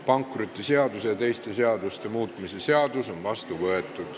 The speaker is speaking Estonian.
Pankrotiseaduse ja teiste seaduste muutmise seadus on vastu võetud.